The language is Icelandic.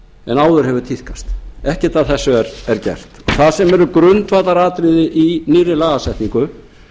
en áður hefur tíðkast en ekkert af þessu er gert það sem er grundvallaratriði í nýrri lagasetningu